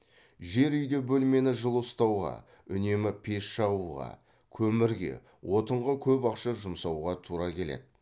жер үйде бөлмені жылы ұстауға үнемі пеш жағуға көмірге отынға көп ақша жұмсауға тура келеді